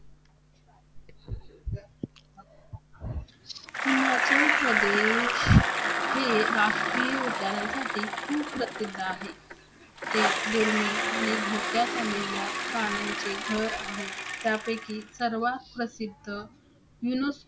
हिमाचल प्रदेश हे राष्ट्रीय उद्यानासाठी खूप प्रसिद्ध आहे. ते दुर्मिळ आणि धोक्यात आलेल्या प्राण्यांचे घर आहे. त्यापैकी सर्वात प्रसिद्ध UNESCO